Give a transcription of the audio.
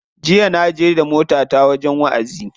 Jiya na je da motata wajen wa'azi.